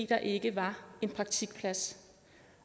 der ikke var en praktikplads